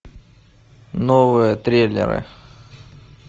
новые триллеры